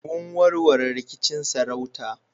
Mun warware rikicin sarauta